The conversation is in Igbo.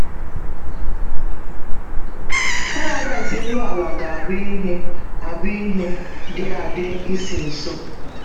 Paradaịs elu ala ga - abụ ihe - abụ ihe dị adị n’isi nso